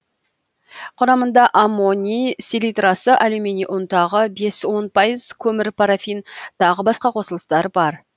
құрамында аммоний селитрасы алюминий ұнтағы бес он пайыз көмір парафин тағы басқа қосылыстар бар